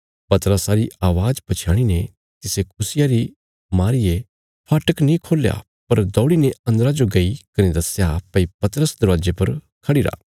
पतरसा री अवाज़ पछयाणी ने तिसे खुशिया री मारीये फाटक नीं खोल्या पर दौड़ीने अन्दरा जो गई कने दस्या भई पतरस दरवाजे पर खढ़िरा